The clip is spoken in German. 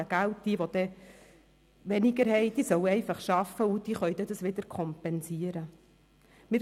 Wer dann weniger hat, soll einfach arbeiten, wodurch das fehlende Geld wieder kompensiert werden kann.